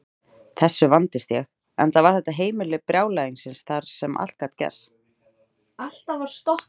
Þessu vandist ég, enda var þetta heimili brjálæðisins þar sem allt gat gerst.